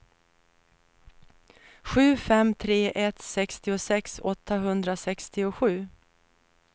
sju fem tre ett sextiosex åttahundrasextiosju